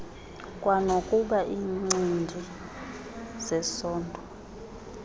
kwanokuba iincindi zesondo